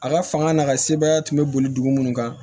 A ka fanga n'a ka sebaaya tun bɛ boli dugu minnu kan